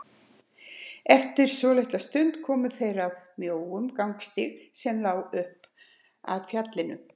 Eftir svolitla stund komu þeir að mjóum gangstíg sem lá upp að fjallinu.